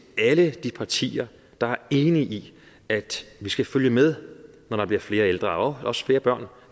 alle de partier der er enige i at vi skal følge med når der bliver flere ældre og også flere børn